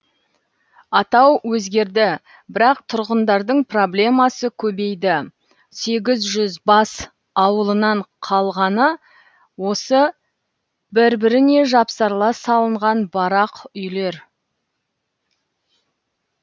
атау өзгерді бірақ тұрғындардың проблемасы көбейді сегіз жүз бас ауылынан қалғаны осы бір біріне жапсарлас салынған барақ үйлер